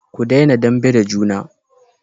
ku dena dambe da juna